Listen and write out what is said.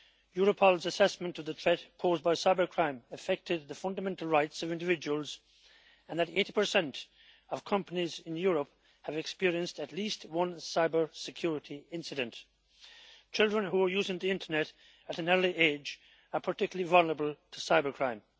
Europol's assessment of the threat posed by cybercrime is that it has affected the fundamental rights of individuals and that 80 of companies in Europe have experienced at least one cybersecurity incident. Children who are using the internet at an early age are particularly vulnerable to cybercrime.